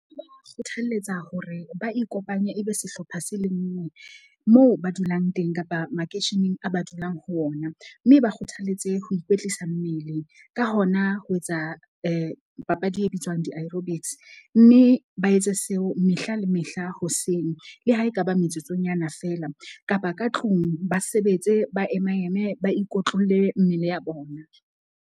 Kgothaletsa hore ba ikopanye ebe sehlopha se le nngwe, moo ba dulang teng kapa makeisheneng a ba dulang ho ona. Mme ba kgothaletse ho ikwetlisa mmele. Ka hona ho etsa papadi e bitswang di-aerobics. Mme ba etse seo mehla le mehla hoseng. Le ha ekaba metsotsonyana fela kapa ka tlung ba sebetse, ba ema eme, ba ikotlolle mmele ya bona.